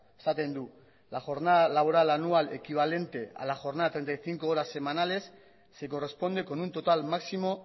esaten du la jornada laboral anual equivalente a la jornada treinta y cinco horas semanales se corresponde con un total máximo